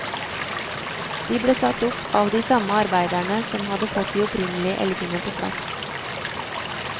De ble satt opp av de samme arbeiderne som hadde fått de opprinnelige elgene på plass.